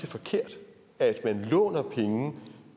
forkert at man låner penge